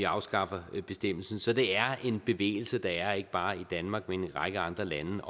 afskaffer bestemmelsen så det er en bevægelse der ikke bare er i danmark men i en række andre lande